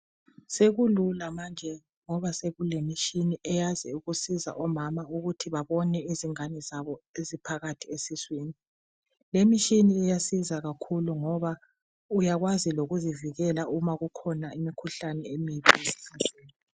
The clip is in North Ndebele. Sekulula manje ngoba sekulemishini eyazi ukusiza omama ukuthi babone izingane zabo eziphakathi esiswini. Lemishini iyasiza kakhulu ngoba uyakwazi lokuzivikela uma kukhona imikhuhlane emibi.